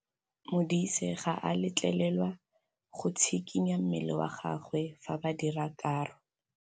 Modise ga a letlelelwa go tshikinya mmele wa gagwe fa ba dira karô.